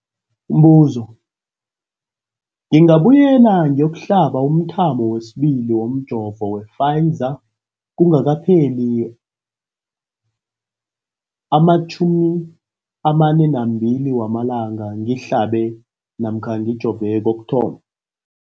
Umbuzo, ngingabuyela ngiyokuhlaba umthamo wesibili womjovo we-Pfizer kungakapheli ama-42 wamalanga ngihlabe namkha ngijove kokuthoma.